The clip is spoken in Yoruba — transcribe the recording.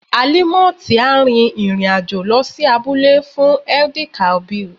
Alimot á rin ìrìn àjò lọ sí abúlé fún Eid-el-kabir.